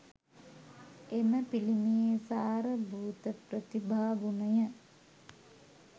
එම පිළිමයේ සාර භූත ප්‍රතිභා ගුණය